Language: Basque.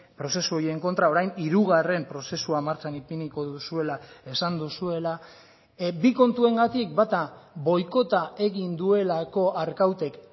prozesu horien kontra orain hirugarren prozesua martxan ipiniko duzuela esan duzuela bi kontuengatik bata boikota egin duelako arkautek